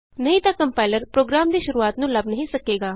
ਨਹੀਂ ਤਾਂ compiler program ਦੀ ਸ਼ੁਰੂਆਤ ਨੂੰ ਲੱਭ ਨਹੀਂ ਸਕੇਗਾ